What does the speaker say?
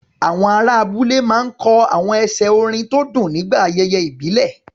Àwọn ará abúlé máa ń kọ àwọn ẹsẹ̀ orin tó dùn nígbà ayẹyẹ ìbílẹ̀.